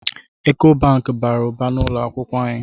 Eko Banki bara ụba n’ụlọakwụkwọ anyị